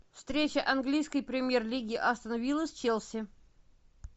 встреча английской премьер лиги астон виллы с челси